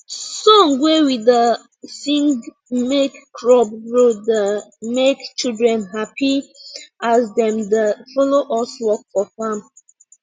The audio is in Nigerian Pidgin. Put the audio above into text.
song wey we da sing make crop grow da make children happy as dem da follow us work for farm